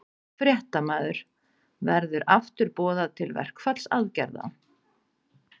Fréttamaður: Verður aftur boðað til verkfallsaðgerða?